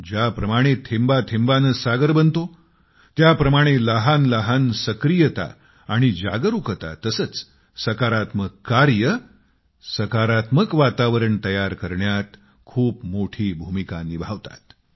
ज्या प्रमाणे थेंबाथेम्बाने सागर बनतो त्या प्रमाणे लहान लहान सक्रियता आणि जागरूकता तसेच सकारात्मक कार्य सकारात्मक वातावरण तयार करण्यात खूप मोठी भूमिका निभावतात